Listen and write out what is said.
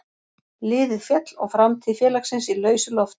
Liðið féll og framtíð félagsins í lausu lofti.